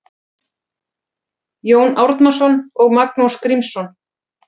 Jón Árnason og Magnús Grímsson